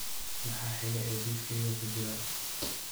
maxaa xiga ee liiskayga ku jira